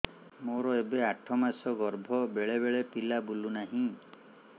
ମୋର ଏବେ ଆଠ ମାସ ଗର୍ଭ ବେଳେ ବେଳେ ପିଲା ବୁଲୁ ନାହିଁ